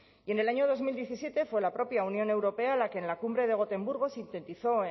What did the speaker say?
y en el año dos mil diecisiete fue la propia unión europea la que en la cumbre de gotemburgo sintetizó